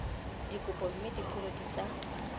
dikopo mme dipholo di tla